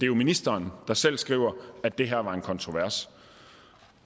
jo ministeren der selv skriver at det her var en kontrovers